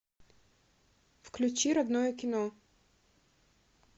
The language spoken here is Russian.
включи родное кино